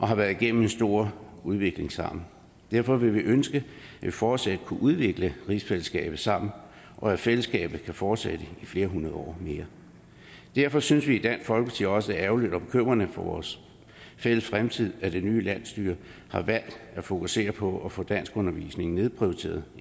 har været igennem en stor udvikling sammen derfor ønsker vi fortsat at kunne udvikle rigsfællesskabet sammen og at fællesskabet kan fortsætte i flere hundrede år mere derfor synes vi i dansk folkeparti også det er ærgerligt og bekymrende for vores fælles fremtid at det nye landsstyre har valgt at fokusere på at få danskundervisningen nedprioriteret